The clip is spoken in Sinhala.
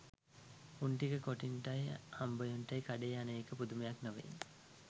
උන් ටික කොටින්ටයි හම්බයෝන්ටයි කඩේ යන එක පුදුමයක් නෙවේ